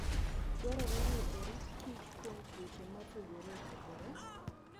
Dwarore ni orit kich kuom tuoche mopogore opogore.